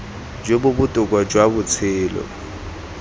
jo bo botoka jwa botshelo